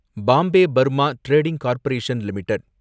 Bombay Burma trading corporation limited